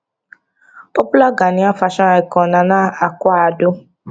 popular ghanaian fashion icon nana akua addo